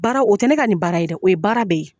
Baara o tɛ ne ka nin baara ye de o ye baara bɛɛ ye.